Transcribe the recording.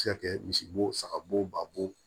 Se ka kɛ misi bo saga bo ba bo